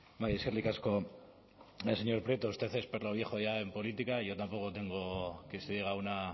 bai eskerrik asko señor prieto usted es perro viejo ya en política y yo tampoco tengo que se diga